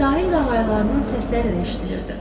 Sahil qağayılarının səsləri də eşidilirdi.